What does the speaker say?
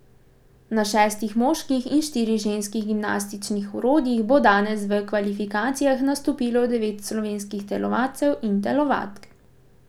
Na šestih moških in štirih ženskih gimnastičnih orodjih bo danes v kvalifikacijah nastopilo devet slovenskih telovadcev in telovadk.